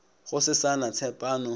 go se sa na tshepano